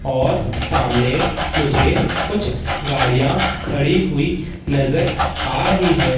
और सामने मुझे कुछ गाड़ियां खड़ी हुई नजर आ रही है।